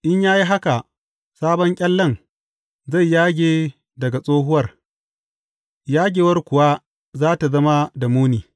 In ya yi haka, sabon ƙyallen zai yage daga tsohuwar, yagewar kuwa za tă zama da muni.